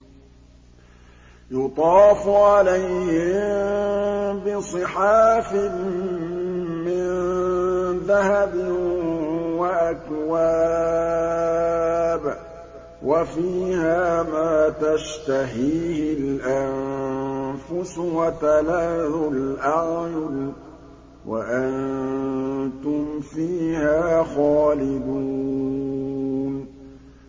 يُطَافُ عَلَيْهِم بِصِحَافٍ مِّن ذَهَبٍ وَأَكْوَابٍ ۖ وَفِيهَا مَا تَشْتَهِيهِ الْأَنفُسُ وَتَلَذُّ الْأَعْيُنُ ۖ وَأَنتُمْ فِيهَا خَالِدُونَ